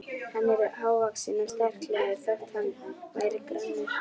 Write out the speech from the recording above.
Hann var hávaxinn og sterklegur þótt hann væri grannur.